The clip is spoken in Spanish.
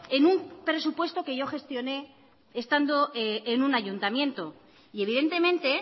en un presupuesto que yo gestioné estando en un ayuntamiento y evidentemente